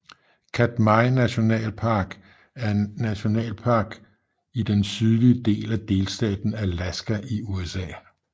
Katmai National Park er en nationalpark i den sydlige del af delstaten Alaska i USA